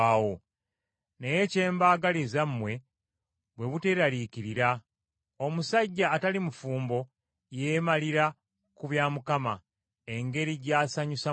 Naye kye mbagaliza mmwe bwe buteraliikirira. Omusajja atali mufumbo yeemalira ku bya Mukama, engeri gy’asanyusa Mukama.